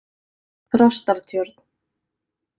Þrastartjörn